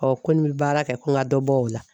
Ɔ ko ni bɛ baara kɛ ko n ka dɔ bɔ o la.